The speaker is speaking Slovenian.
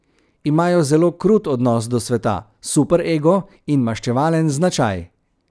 Imajo zelo krut odnos do sveta, super ego in maščevalen značaj.